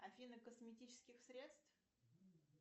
афина косметических средств